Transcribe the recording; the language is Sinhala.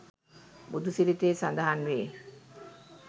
බුදුසිරිතේ සඳහන් වේ.